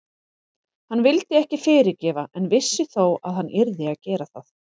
Hann vildi ekki fyrirgefa en vissi þó að hann yrði að gera það.